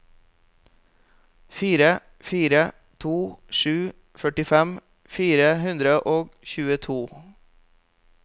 fire fire to sju førtifem fire hundre og tjueto